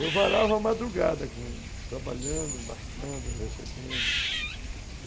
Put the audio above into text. Eu varava a madrugada trabalhando, embarcando, recebendo.